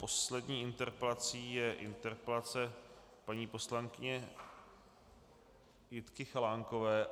Poslední interpelací je interpelace paní poslankyně Jitky Chalánkové.